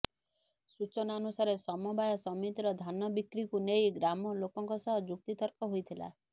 ସୂଚନା ଅନୁସାରେ ସମବାୟ ସମିତିର ଧାନ ବିକ୍ରିକୁ ନେଇ ଗ୍ରାମ ଲୋକଙ୍କ ସହ ଯୁକ୍ତିତର୍କ ହୋଇଥିଲା